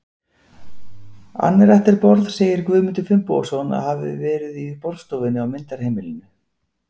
Anretterborð segir Guðmundur Finnbogason að hafi verið í borðstofunni á myndarheimilinu.